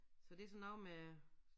Så det sådan noget med